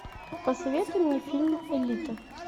посоветуй мне фильм элита